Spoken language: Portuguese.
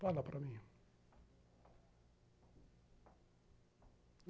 Fala para mim.